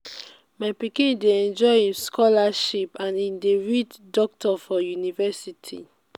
my pikin dey enjoy im scholarship and e dey read doctor for universilty.